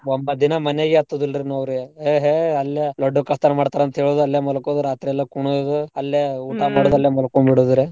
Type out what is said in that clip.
ಒಂಬತ್ ದಿನಾ ಮನೆಗೇ ಹತ್ತೂದಿಲ್ರೀ ನಾವ್ರೀ ಏಹೇ ಅಲ್ಲೇ ಲಡ್ಡು ಕಳ್ತನ ಮಾಡ್ತಾರ್ ಅಂತ್ ಹೇಳುದು ಅಲ್ಲೇ ಮಲ್ಕೋಲುದು ರಾತ್ರಿ ಎಲ್ಲಾ ಕುಣಿಯೋದು ಅಲ್ಲೇ ಮಾಡೋದು ಅಲ್ಲೇ ಮಲ್ಕೊಂಬಿದಡುದುರಿ.